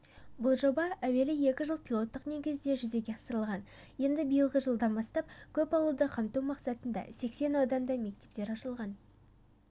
бұл жоба әуелі екі жыл пилоттық негізде жүзеге асырылған енді биылғы жылдан бастап көп ауылды қамту мақсатында сексен ауданда мектептер ашылған